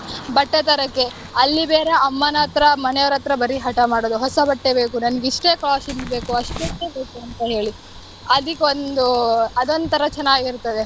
ಬಟ್ಟೆ ತರಕೆ. ಅಲ್ಲಿ ಬೇರೆ ಅಮ್ಮನತ್ರ ಮನೆಯೊರತ್ರ ಬರಿ ಹಠ ಮಾಡೋದು ಹೊಸ ಬಟ್ಟೆ ಬೇಕು ನಂಗ್ ಇಷ್ಟೇ costly ದ್ ಬೇಕು ಅಷ್ಟೇ ಬೇಕುಂತ ಹೇಳಿ ಅದಿಕ್ ಒಂದು ಅದೊಂತರ ಚೆನ್ನಾಗ್ ಇರ್ತದೆ.